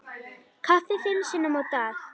Kaffi fimm sinnum á dag.